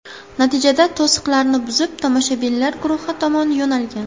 Natijada to‘siqlarni buzib, tomoshabinlar guruhi tomon yo‘nalgan.